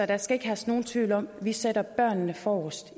der skal ikke herske nogen tvivl om at vi sætter børnene forrest